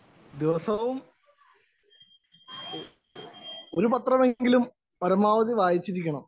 Speaker 1 ദിവസവും ഒരു പത്രമെങ്കിലും പരമാവധി വായിച്ചിരിക്കണം.